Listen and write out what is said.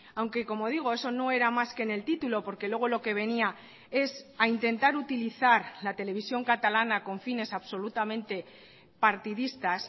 aunque como digo eso no era más que en el título porque luego lo que venía es a intentar utilizar la televisión catalana con fines absolutamente partidistas